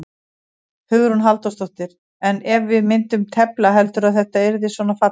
Hugrún Halldórsdóttir: En ef við myndum tefla, heldurðu að þetta yrði svona fallegt?